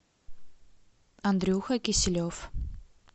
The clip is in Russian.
андрюха киселев